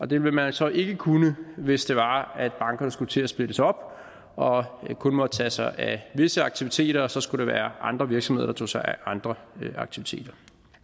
det ville man så ikke kunne hvis det var at bankerne skulle til at splittes op og kun måtte tage sig af visse aktiviteter og der så skulle være andre virksomheder der tog sig af andre aktiviteter